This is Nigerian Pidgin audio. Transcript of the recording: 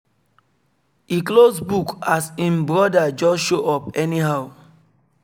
e close book as im broda just show up anyhow